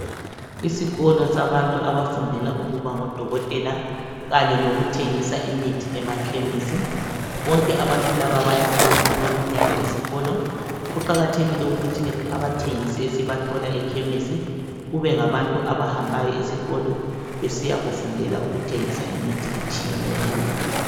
Isikolo sabantu abafundela ukuba ngodokotela, kanye lokuthengisa imithi emakhemisi, bonke abantu laba bayahamba okweminyaka esikolo, kuqakathekile ukuthi abathengisi esibathola ekhemisi kube ngabantu abahambayo esikolo besiya kufundela ukuthengisa imithi etshiyeneyo.